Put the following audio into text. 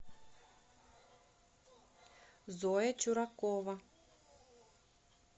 зоя чуракова